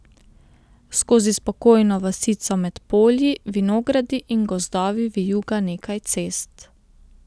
Skozi spokojno vasico med polji, vinogradi in gozdovi vijuga nekaj cest.